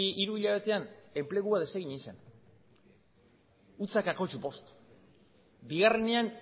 hiru hilabetean enplegua desegin egin zen zero koma bost bigarrenean